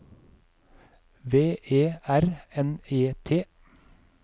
V E R N E T